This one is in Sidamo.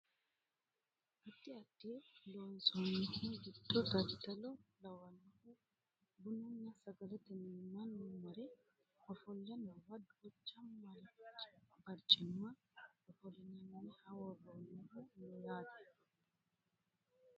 addi addi loonsannihu giddo daddalo lawannohu bununna sagalete mine mannu mare ofolle noowa duucha barcima ofollinanniha worroonnihu no yaate .